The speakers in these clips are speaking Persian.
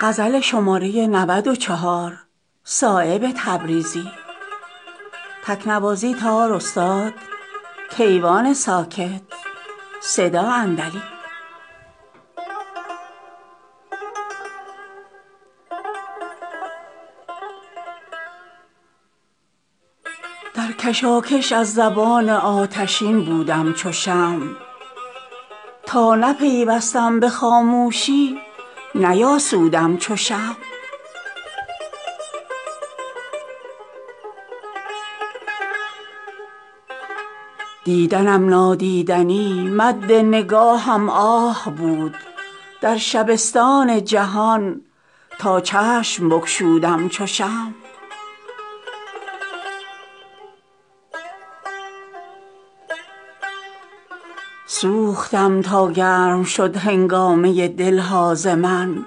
در کشاکش از زبان آتشین بودم چو شمع تا نپیوستم به خاموشی نیاسودم چو شمع دیدنم نادیدنی مد نگاهم آه بود در شبستان جهان تاچشم بگشودم چو شمع سوختم تا گرم شد هنگامه دلها ز من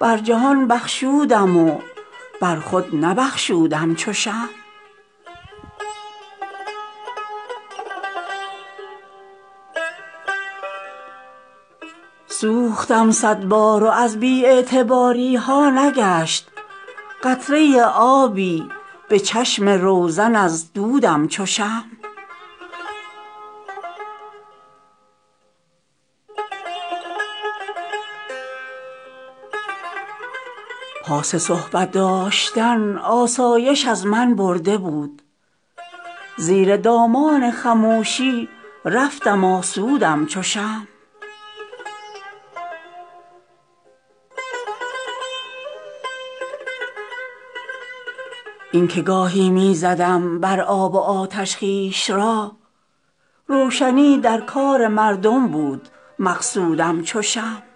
بر جهان بخشودم و برخود نبخشودم چو شمع اشک وآه برق جولان را براه انداختم در طریق عشق پای خود نفرسودم چو شمع سوختم صدبار و از بی اعتباریها نگشت قطره آبی به چشم روزن ازدودم چو شمع پاس صحبت داشتن آسایش از من برده بود زیر دامان خموشی رفتم آسودم چو شمع این که گاهی می زدم برآب و آتش خویش را روشنی درکار مردم بود مقصودم چو شمع چون صدف در پرده های دل نهفتم اشک را گوهر خود را به هر بیدرد ننمودم چو شمع روزی من بردل این تنگ چشمان بار بود گرچه در محفل زبان برخاک می سودم چو شمع پرده های خواب رامی سوختم از اشک گرم دیده بان دولت بیدار خود بودم چو شمع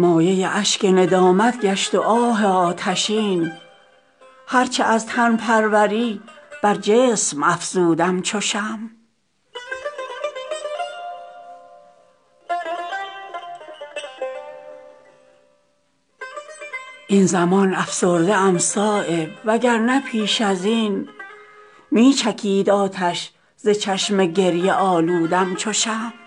مایه اشک ندامت گشت وآه آتشین هرچه از تن پروری برجسم افزودم چو شمع این زمان افسرده ام صایب وگر نه پیش ازین می چکید آتش ز چشم گریه آلودم چو شمع